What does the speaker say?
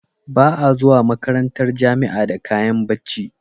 Ba a zuwa makarantar jamia da kayan bacci